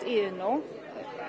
í Iðnó